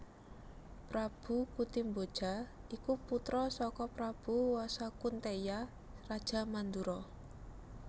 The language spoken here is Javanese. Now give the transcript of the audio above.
Prabu Kuntiboja iku putra saka Prabu Wasukunteya raja Mandura